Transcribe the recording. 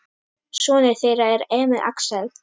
Sonur þeirra er Emil Axel.